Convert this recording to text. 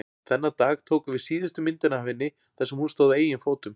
Þennan dag tókum við síðustu myndina af henni þar sem hún stóð á eigin fótum.